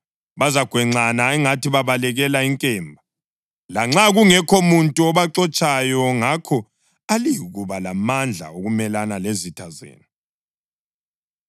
Bazagwenxana angathi babalekela inkemba, lanxa kungekho muntu obaxotshayo. Ngakho aliyikuba lamandla okumelana lezitha zenu.